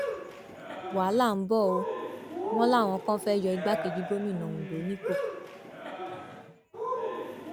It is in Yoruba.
wàhálà ń bọ ọ wọn láwọn kan fẹẹ yọ igbákejì gómìnà ondo nípò